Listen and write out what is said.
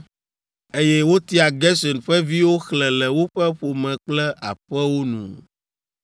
Eye wotia Gerson ƒe viwo xlẽ le woƒe ƒome kple aƒewo nu.